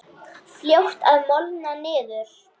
Fljótt að molna niður.